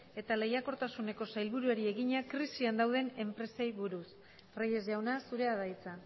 eta lehiakortasuneko sailburuari egina krisian dauden enpresei buruz reyes jauna zurea da hitza